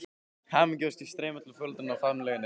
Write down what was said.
Hamingjuóskir streyma til foreldranna og faðmlögin eru mörg.